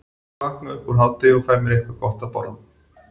Ég vakna upp úr hádegi og fæ mér eitthvað gott að borða.